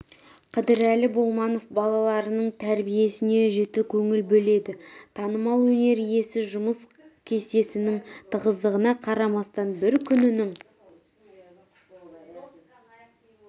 қыдырәлі болманов балаларының тәрбиесіне жіті көңіл бөледі танымал өнер иесі жұмыс кестесінің тығыздығына қарамастан бір күнінің